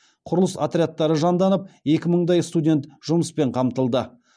құрылыс отрядтары жанданып екі мыңдай студент жұмыспен қамтылды